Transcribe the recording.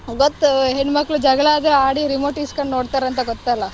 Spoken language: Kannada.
ಗೊತ್ತು ಹೆಣ್ಮಕ್ಳು ಜಗಳ ಆದ್ರೂ ಆಡಿ remote ಇಸ್ಕೊಂಡ್ ನೋಡ್ತಾರಂತ ಗೊತ್ತಲಾ.